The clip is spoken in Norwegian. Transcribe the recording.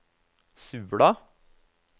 Sula